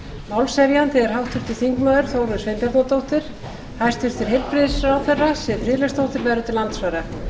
málshefjandi er háttvirtur þingmaður þórunn sveinbjarnardóttir hæstvirtur heilbrigðisráðherra siv friðleifsdóttir verður til andsvara